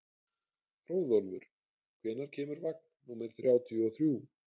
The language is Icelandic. Hróðólfur, hvenær kemur vagn númer þrjátíu og þrjú?